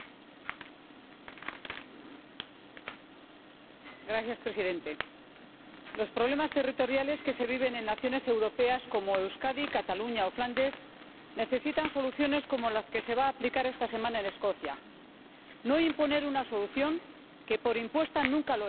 Señor Presidente, los problemas territoriales que se viven en naciones europeas como Euskadi, Cataluña o Flandes, necesitan soluciones como la que se va a aplicar esta semana en Escocia no imponer una solución que, por impuesta, nunca lo es y no impedir que la ciudadanía pueda debatir y decidir.